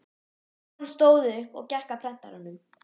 Konan stóð upp og gekk að prentaranum.